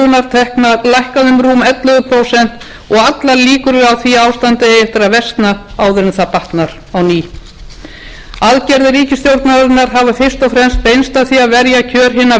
því að ástandið eigi eftir að versna áður en það batnar á ný aðgerðir ríkisstjórnarinnar hafa fyrst og fremst beinst að því að verja kjör hinna